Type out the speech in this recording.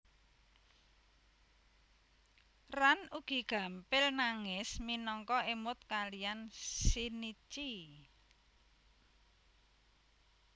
Ran ugi gampel nangis minangka emut kalian Shinichi